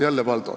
Jälle Valdo.